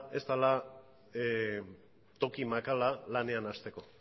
ez dela toki makala lanean hasteko